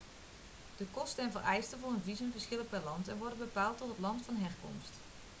de kosten en vereisten voor een visum verschillen per land en worden bepaald door het land van herkomst